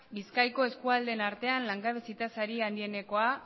bizkaiko eskualdeen artean langabezi tasa handienekoa